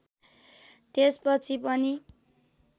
त्यसपछि पनि